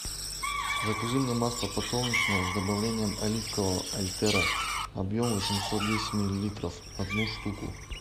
закажи мне масло подсолнечное с добавлением оливкового альтера объем восемьсот десять миллилитров одну штуку